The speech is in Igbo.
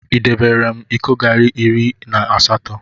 Idebere m iko garị iri na asatọ?